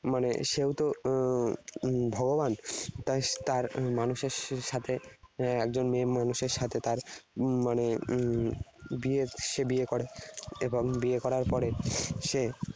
মানে সেও তো উহ ভগবান। তাই তার মানুষের সাথে একজন মেয়ে মানুষের সাথে তার উম মানে উম বিয়ে সে বিয়ে করে। এবং বিয়ে করার পরে সে